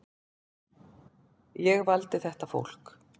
Ég valdi þetta fólk.